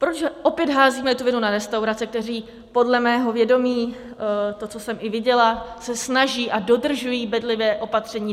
Proč opět házíme tu vinu na restaurace, které podle mého vědomí, to, co jsem i viděla, se snaží a dodržují bedlivě opatření.